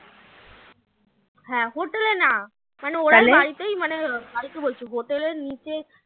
হ্যাঁ hotel এ না মানে বাড়িতেই মানে বাড়িতে বলছি hotel এর নিচে